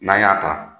N'an y'a ta